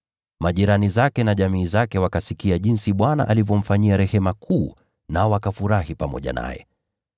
Majirani zake na jamii zake wakasikia jinsi Bwana alivyomfanyia rehema kuu, nao wakafurahi pamoja naye.